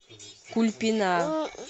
кульпина